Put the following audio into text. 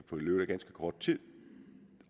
kort tid